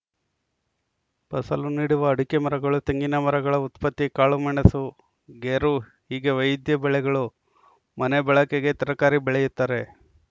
ಫಸಲು ನೀಡುವ ಅಡಿಕೆ ಮರಗಳು ತೆಂಗಿನ ಮರಗಳ ಉತ್ಪತ್ತಿ ಕಾಳುಮೆಣಸು ಗೇರು ಹೀಗೆ ವೈವಿಧ್ಯ ಬೆಳೆಗಳು ಮನೆ ಬಳಕೆಗೆ ತರಕಾರಿ ಬೆಳೆಯುತ್ತಾರೆ